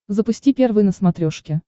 запусти первый на смотрешке